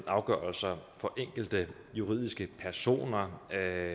afgørelser for enkelte juridiske personer